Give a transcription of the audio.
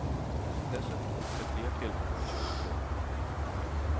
Dessutom finns det fler tillbehör att köpa till.